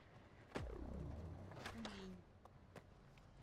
хулинь